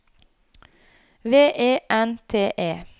V E N T E